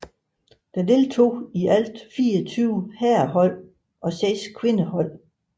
Der deltog i alt 24 herrehold og 6 kvindehold